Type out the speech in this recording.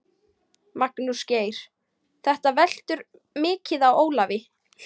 Magnús Geir: Þetta veltur mikið á Ólafi?